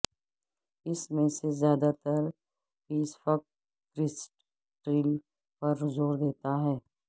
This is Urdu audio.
اس میں سے زیادہ تر پیسفک کریسٹ ٹریل پر زور دیتا ہے